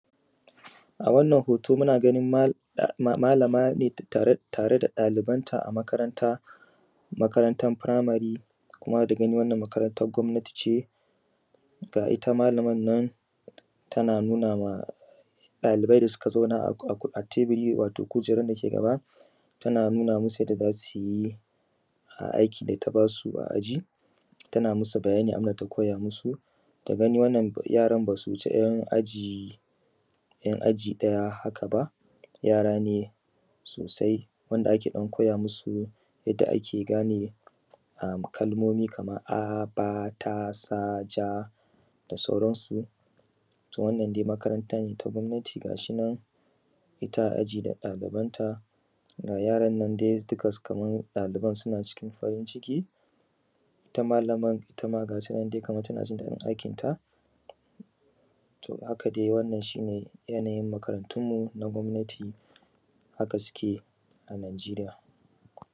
A wannan hoto ne muna ganin malama ne tare da ɗalibanta a makaranta, makarantar firamare kuma da ganin wannan makarantar gwabnati ce. Ga ta malaman nan tana nuna ma malamai da suka zauna a kujera a teburin dake gaba tana nuna musu yadda za su yi a aikin da ta ba su a aji. Tana musu bayanin abun da ta koya musu. Da gani wannan yaran ba su wuce 'yan aji daya haka ba yara ne sosai wanda ake koya musu yadda ake gane kalmomi kamar a ,ba ,ta, sa, ja da sauransu. Ita dai wannan makarantar gwabnati ga shi nan ita a aji da ɗalibanta ga yaran nan dai dukkansu kamar ɗaliba suna cikin farin ciki ita malamar ma ga nan kamar ta ji da aikinta. To, haka dai wannan shi ne yanayin makarantunmu na gwabnati haka suke a nijeriya.